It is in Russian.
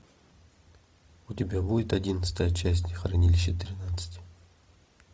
у тебя будет одиннадцатая часть хранилище тринадцать